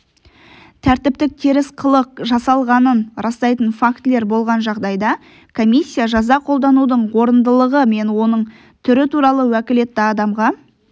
тәртіптік теріс қылық жасалғанын растайтын фактілер болған жағдайда комиссия жаза қолданудың орындылығы мен оның түрі туралы уәкілетті адамға